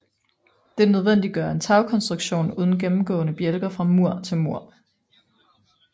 Dette nødvendiggør en tagkonstruktion uden gennemgående bjælker fra mur til mur